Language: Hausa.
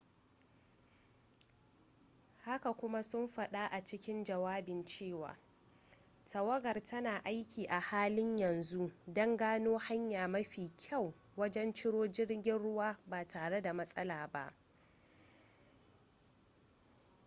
haka kuma sun faɗa a cikin jawabin cewa tawagar tana aiki a halin yanzu don gano hanya mafi kyau wajen ciro jirgin ruwan ba tare da matsala ba